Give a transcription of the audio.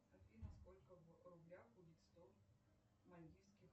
афина сколько в рублях будет сто мальдивских